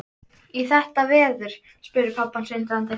Í þetta veður? spurði pabbi hans undrandi.